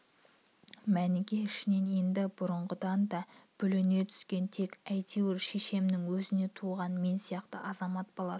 мәніке ішінен енді бұрынғыдан да бүліне түскен тек әйтеуір шешемнің өзінен туған мен сияқты азамат баласы